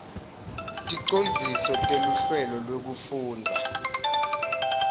ticondziso teluhlelo lwekufundza